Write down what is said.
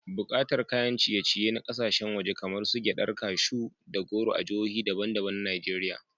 Buƙatar kayan ciye-ciye na kasashen waje kamar su gyaɗar kashu da goro a jihohi daban-daban na Najeriya.